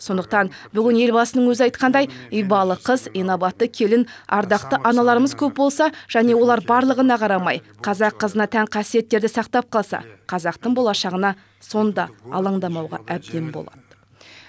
сондықтан бүгін елбасының өзі айтқандай ибалы қыз инабатты келін ардақты аналарымыз көп болса және олар барлығына қарамай қазақ қызына тән қасиеттерді сақтап қалса қазақтың болашағына сонда алаңдамауға әбден болады